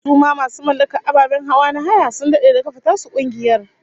Su ma masu mallakar ababen hawa na haya sun dade da kafa tasu kungiyar